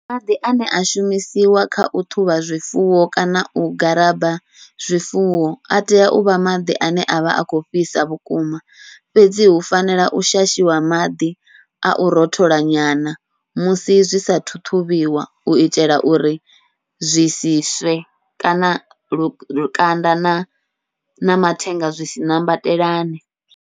Maḓi ane a shumisiwa kha u ṱhuvha zwifuwo kana u garaba zwifuwo, atea uvha maḓi ane avha a kho fhisa vhukuma fhedzi hu fanela u shashiwa maḓi au rothola nyana musi zwi sathu ṱhuvhiwa, uitela uri zwi si swe kana lukanda na mathenga zwi si ṋambatelane.